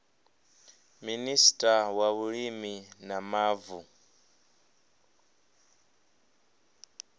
minista wa vhulimi na mavu